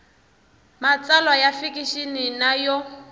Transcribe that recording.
matsalwa ya fikixini na yo